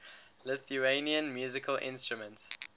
lithuanian musical instruments